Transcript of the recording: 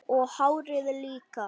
Og hárið líka!